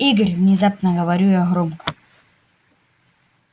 игорь внезапно говорю я громко